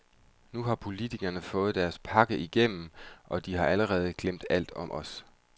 Nu har politikerne fået deres pakke igennem, og de har allerede glemt alt om os.